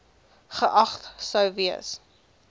geag sou gewees